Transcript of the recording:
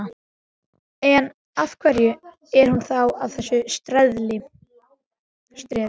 En, af hverju er hún þá að þessu streði?